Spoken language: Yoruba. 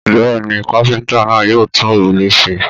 Bẹ́ẹ̀ ni, kápẹ́ńtà náà yóò tún òrùlé ṣe.